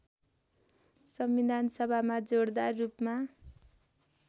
संविधानसभामा जोडदार रूपमा